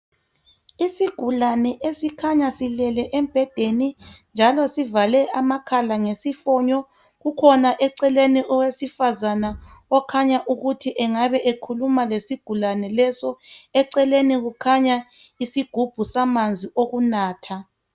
Isigulane esikhanya silele embhedeni njalo sivale amakhala ngesifonyo kukhona eceleni owesifazana okhanya ukuthi engabe ekhuluma lesigulane leso. Eceleni kukhanya iisgubhu samanzi okunatha.